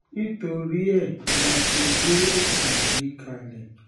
nítorí ẹ̀ la ṣe gbé ètò yìí kalẹ̀ um